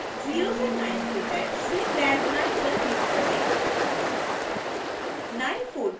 अतं में 0 से 9 के टैब्स से टैब 9 पर क्लिक करें